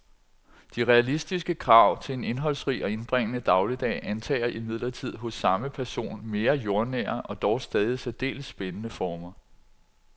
De realistiske krav til en indholdsrig og indbringende dagligdag antager imidlertid hos samme person mere jordnære og dog stadig særdeles spændende former.